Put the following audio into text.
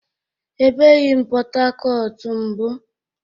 E ebeghi m Pọtakọtu mbu